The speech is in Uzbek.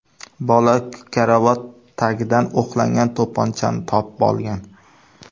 Bola karavot tagidan o‘qlangan to‘pponchani topib olgan.